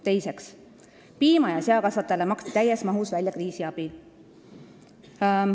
Teiseks, piimatootjatele ja seakasvatajatele maksti täies mahus välja kriisiabi.